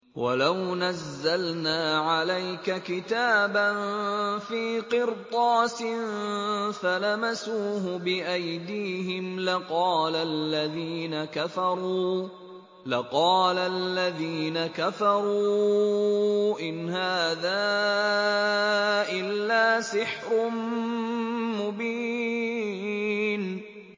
وَلَوْ نَزَّلْنَا عَلَيْكَ كِتَابًا فِي قِرْطَاسٍ فَلَمَسُوهُ بِأَيْدِيهِمْ لَقَالَ الَّذِينَ كَفَرُوا إِنْ هَٰذَا إِلَّا سِحْرٌ مُّبِينٌ